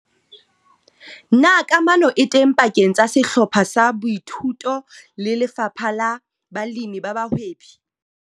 Na kamano e teng pakeng tsa sehlopha sa boithuto le lefapha la balemi ba bahwebi?